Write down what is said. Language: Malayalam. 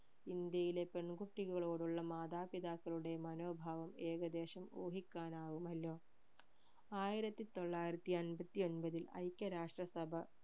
ഇന്ത്യയിലെ പെൺകുട്ടികളോടുള്ള മാതാപിതാക്കളുടെ മനോഭാവം ഏകദേശം ഊഹിക്കാനാവുമല്ലോ ആയിരത്തി തൊള്ളായിരത്തി എൺപത്തി ഒൻപതിൽ ഐക്യരാഷ്ട്രസഭ